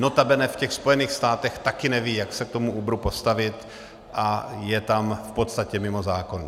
Notabene v těch Spojených státech taky nevědí, jak se k tomu Uberu postavit, a je tam v podstatě mimo zákon.